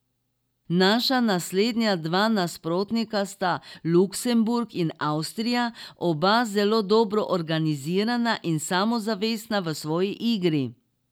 Naša naslednja dva nasprotnika sta Luksemburg in Avstrija, oba zelo dobro organizirana in samozavestna v svoji igri.